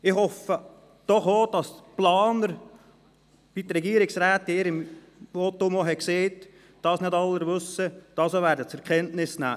Ich hoffe, dass dies – wie dies die Regierungsrätin gesagt hat – auch die Planer, zur Kenntnis nehmen werden, obwohl es noch nicht alle wissen.